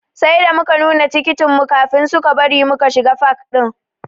Sai da muka nuna tikitin mu kafin suka bari muka shiga fak ɗin.